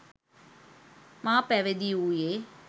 මා පැවිදි වූයේ